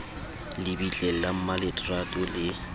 le bitleng la mmaletrato le